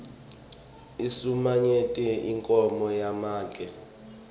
insulamnyembeti inkhomo yamake